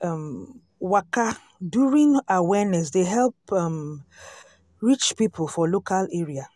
um waka during awareness dey help um reach people for local area.